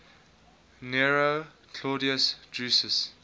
nero claudius drusus